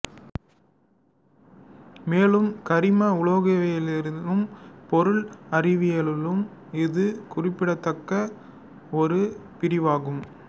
மேலும் கரிம உலோகவியலிலும் பொருள் அறிவியலிலும் இது குறிப்பிடத்தக்க ஒரு பிரிவாகும்